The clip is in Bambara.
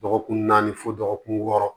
Dɔgɔkun naani fo dɔgɔkun wɔɔrɔ